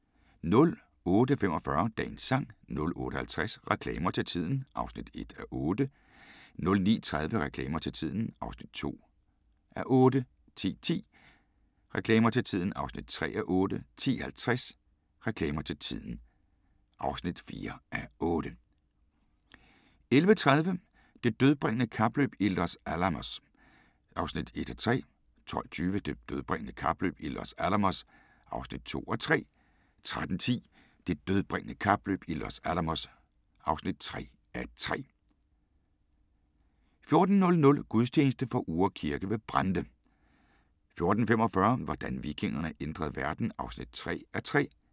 08:45: Dagens sang 08:50: Reklamer til tiden (1:8) 09:30: Reklamer til tiden (2:8) 10:10: Reklamer til Tiden (3:8) 10:50: Reklamer til tiden (4:8) 11:30: Det dødbringende kapløb i Los Alamos (1:3) 12:20: Det dødbringende kapløb i Los Alamos (2:3) 13:10: Det dødbringende kapløb i Los Alamos (3:3) 14:00: Gudstjeneste fra Uhre Kirke ved Brande 14:45: Hvordan vikingerne ændrede verden (3:3)